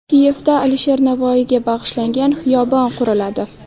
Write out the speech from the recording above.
Kiyevda Alisher Navoiyga bag‘ishlangan xiyobon quriladi.